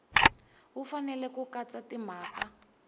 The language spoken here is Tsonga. wu fanele ku katsa timhaka